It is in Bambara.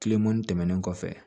Kilemani tɛmɛnen kɔfɛ